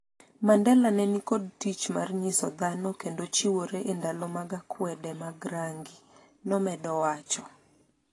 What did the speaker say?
Mandela ne ni kod tich mar nyiso dhano kendo chiwore e ndalo mag akwede mag rangi, nomedo wacho